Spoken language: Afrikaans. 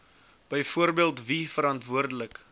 byvoorbeeld wie verantwoordelik